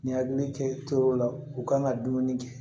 Nin hakili kɛ yɔrɔ la u kan ka dumuni kɛ